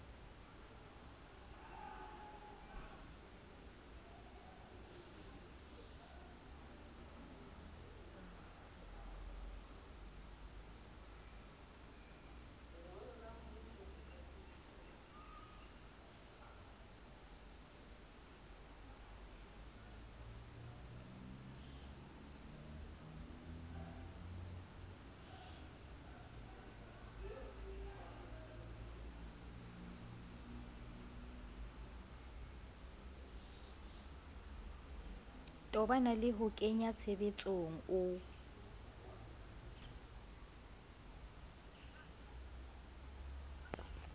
tobana le ho kenyatshebetsong o